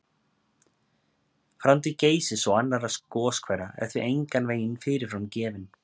Framtíð Geysis og annarra goshvera er því engan veginn fyrirfram gefin.